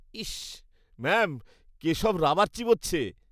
Is! Ma'am, Keshab rubber চিবোচ্ছে।